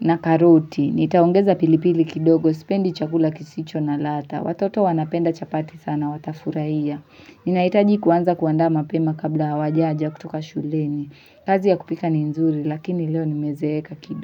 na karoti nitaongeza pilipili kidogo sipendi chakula kisicho na ladha watoto wanapenda chapati sana watafurahia ninahitaji kuanza kuandama pema kabla hawajaja kutoka shuleni kazi ya kupika ni nzuri lakini leo nimezeeka kini.